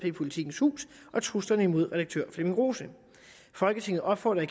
jppolitikens hus og truslerne imod redaktør flemming rose folketinget opfordrer